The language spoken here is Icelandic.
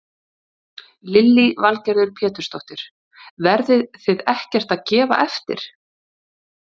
Lillý Valgerður Pétursdóttir: Verðið þið ekkert að gefa eftir?